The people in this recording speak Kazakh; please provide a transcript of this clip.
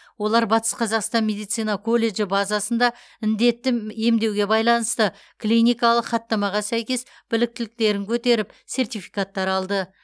олар батыс қазақстан медицина колледжі базасында індетті м емдеуге байланысты клиникалық хаттамаға сәйкес біліктіліктерін көтеріп сертификаттар алды